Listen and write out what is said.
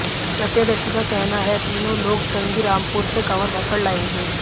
प्रत्यदर्शी का कहना है तीनों लोग श्रृंगीरामपुर से कांवर भरकर लाए थे